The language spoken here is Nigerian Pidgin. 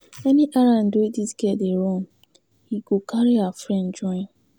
Any errand wey dis girl dey run, he go carry her friend join.